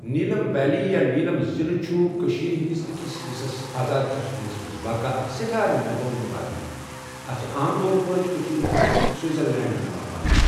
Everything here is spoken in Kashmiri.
نيٖلم ویلی یا نيٖلم ضِلہٕ چھےٚ کٔشیٖر ہٕنٛدِس أکِس حِصس آزاد کٔشیٖر منٛز واقع اَکھ سؠٹھاہ ننٛد بٲنی وادی، اَتھ چھ عام طور پٲٹھی کٔشیٖر ہُنٛد سِويٖذر لینٛڈ یِوان ونٛنہٕ